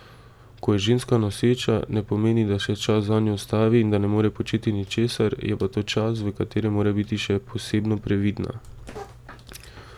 Ko je ženska noseča, ne pomeni, da se čas zanjo ustavi in da ne more početi ničesar, je pa to čas, v katerem mora biti še posebno previdna.